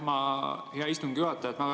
Aitäh, hea istungi juhataja!